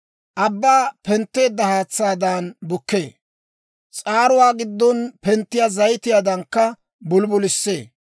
«Abbaa pentteedda haatsaadan bukkee; s'aaruwaa giddon penttiyaa zayitiyaadankka bulibulissee.